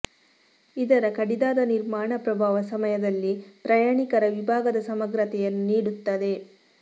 ಇದರ ಕಡಿದಾದ ನಿರ್ಮಾಣ ಪ್ರಭಾವ ಸಮಯದಲ್ಲಿ ಪ್ರಯಾಣಿಕರ ವಿಭಾಗದ ಸಮಗ್ರತೆಯನ್ನು ನೀಡುತ್ತದೆ